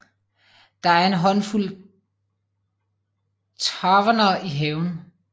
Der er en håndfuld taverner i havnen